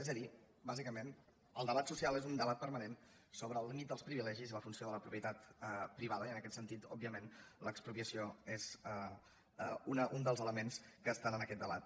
és a dir bàsicament el debat so·cial és un debat permanent sobre el límit dels privile·gis i la funció de la propietat privada i en aquest sen·tit òbviament l’expropiació és un dels elements que estan en aquest debat